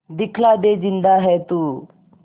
दिखला दे जिंदा है तू